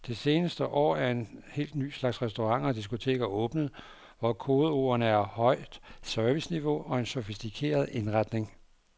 Det seneste år er en helt ny slags restauranter og diskoteker åbnet, hvor kodeordene er højt serviceniveau og en sofistikeret indretning.